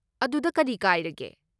ꯑꯗꯨꯗ ꯀꯔꯤ ꯀꯥꯏꯔꯒꯦ?